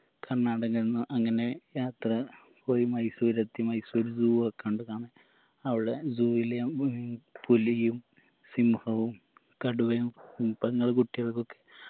കർണാടകയ്‌ന്ന് അങ്ങനെ യാത്ര പോയി മൈസൂര് എത്തി മൈസൂര് zoo ഒക്കെ കണ്ടതാണ് അവിടെ zoo യിലെ ഉം പുലിയും സിംഹവും കടുവയും ഉം പെങ്ങളെ കുട്ടിയൾക്കൊക്കെ